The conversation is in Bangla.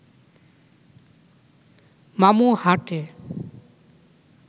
মামু হাঁটে